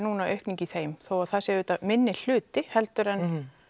aukning í þeim þó það sé auðvitað minni hluti heldur en